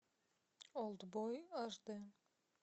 олдбой аш дэ